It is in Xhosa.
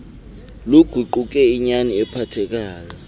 luguquke inyani ephathekayo